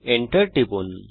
enter টিপুন